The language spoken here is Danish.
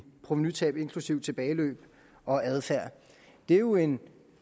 provenutab inklusive tilbageløb og adfærd det er jo en